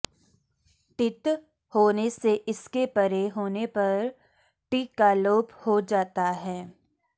डित् होने से इसके परे होने पर टि का लोप हो जाता है